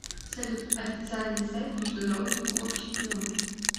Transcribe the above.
салют официальный сайт международный кубок чемпионов